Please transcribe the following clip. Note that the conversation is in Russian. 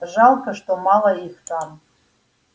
жалко что мало их там